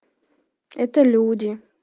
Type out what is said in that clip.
это люди